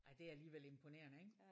Ej det er alligevel imponerende ik?